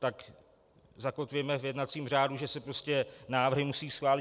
Tak zakotvíme v jednacím řádu, že se prostě návrhy musí schválit.